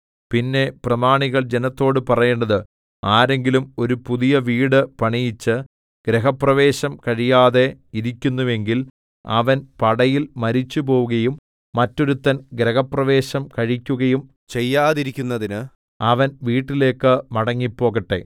പിന്നെ പ്രമാണികൾ ജനത്തോട് പറയേണ്ടത് ആരെങ്കിലും ഒരു പുതിയ വീട് പണിയിച്ച് ഗൃഹപ്രവേശം കഴിയാതെ ഇരിക്കുന്നുവെങ്കിൽ അവൻ പടയിൽ മരിച്ചുപോകയും മറ്റൊരുവൻ ഗൃഹപ്രവേശം കഴിക്കുകയും ചെയ്യാതിരിക്കുന്നതിന് അവൻ വീട്ടിലേക്ക് മടങ്ങിപ്പോകട്ടെ